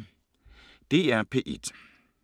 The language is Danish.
DR P1